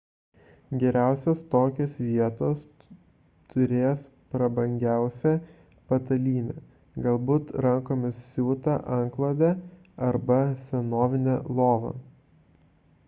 geriausios tokios vietos turės prabangiausią patalynę galbūt rankomis siūtą antklodę arba senovinę lovą